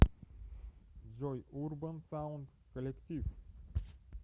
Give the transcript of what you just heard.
джой урбан саунд коллектив